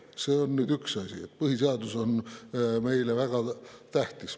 See on nüüd üks asi, et põhiseadus on meile väga tähtis.